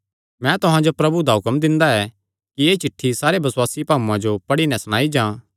मैं तुहां जो प्रभु दा हुक्म दिंदा ऐ कि एह़ चिठ्ठी सारे बसुआसी भाऊआं जो पढ़ी नैं सणाई जां